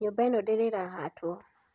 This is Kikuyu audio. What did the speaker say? Nyũmba ĩno ndĩrĩ ĩrahatwo.